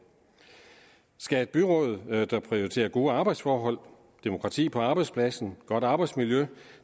skal et byråd der prioriterer gode arbejdsforhold demokrati på arbejdspladsen godt arbejdsmiljø